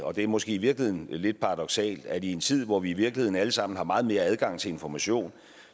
og det er måske i virkeligheden lidt paradoksalt at i en tid hvor vi i virkeligheden alle sammen har meget mere adgang til information